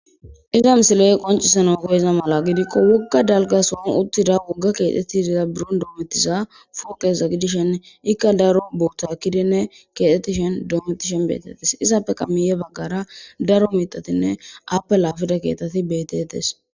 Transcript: iza misiley qoncisanawu koyiza mala gidikko wogga dalga son uttida wogga keetetti diza biron doometiza fookeza gidishen ikka daro bootha kidinne keetettishen doometishen beetettes izappe kamiye baggara daro mitatinne appe laafida keeteti betetes